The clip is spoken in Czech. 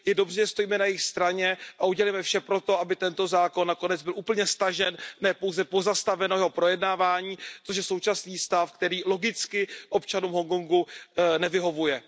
Je dobře, že stojíme na jejich straně a udělejme vše pro to, aby tento zákon nakonec byl úplně stažen, ne pouze pozastaveno jeho projednávání, což je současný stav, který logicky občanům Hongkongu nevyhovuje.